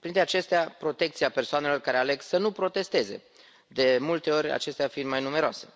Printre acestea protecția persoanelor care aleg să nu protesteze, de multe ori acestea fiind mai numeroase,